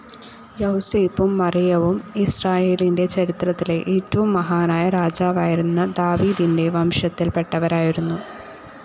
യൗസേപ്പും മറിയവും ഇസ്രായേലിന്റെ ചരിത്രത്തിലെ ഏറ്റവും മഹാനായ രാജാവായിരുന്ന ദാവീദിന്റെ വംശത്തിൽ പെട്ടവരായിരുന്നു.